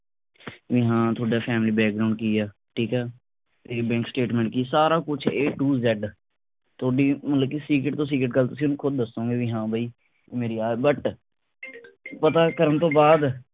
ਬਈ ਹਾਂ ਤੁਹਾਡਾ family background ਕੀ ਆ। ਠੀਕ ਆ ਤੇ bank statement ਕੀ ਸਾਰਾ ਕੁਝ a to z ਥੋਡੀ ਮਤਲਬ ਕਿ secret ਤੋਂ secret ਗੱਲ ਤੁਸੀ ਉਹਨੂੰ ਖੁਦ ਦੱਸੋਗੇ ਕਿ ਬਈ ਹਾਂ ਬਈ ਮੇਰੀ ਆਹ but ਪਤਾ ਕਰਨ ਤੋਂ ਬਾਅਦ